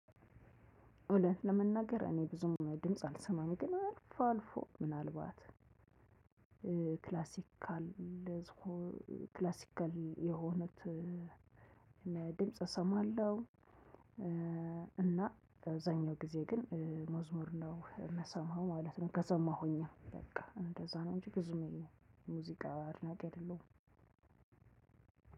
እውነት ለመናገር እኔ ብዙም ድምጽ አልሰማም ግን አልፎ አልፎ ምናልባት ክላሲካል ክላሲካል የሆነ ድምፅና እሰማለሁ እና አብዛሀኛውን ጊዜ ግን መዝሙር ነው የምሰማው ማለት ነው። ከሰማሁኝም በቃ እንደዚያ ነው እንጂ ብዙም ሙዚቃ አድናቂ አይደለሁም።